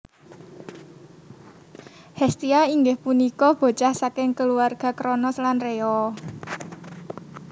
Hestia inggih punika bocah saking keluarga Kronos lan Rhea